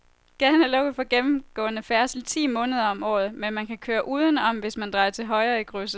Gaden er lukket for gennemgående færdsel ti måneder om året, men man kan køre udenom, hvis man drejer til højre i krydset.